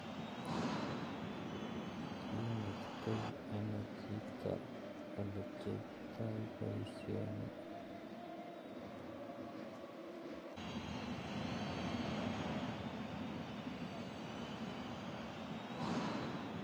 Inetitoi anoo chito olekiyoito bosioni